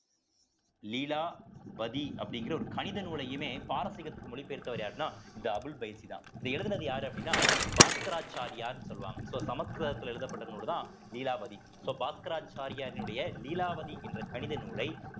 லீலாவதி அப்படிங்கிற ஒரு கணித நூலையுமே பாரசீகத்துக்கு மொழி பெயர்த்தவர் யாருன்னா இந்த அபுல் பைசி தான் இத எழுதினது யாரு அப்படின்னா பாஸ்கராச்சாரியார்ன்னு சொல்லுவாங்க so சமஸ்கிருதத்தில எழுதப்பட்ட நூலைதான் லீலாவதி so பாஸ்கராச்சாரியாரினுடைய லீலாவதி என்ற கணித நூலை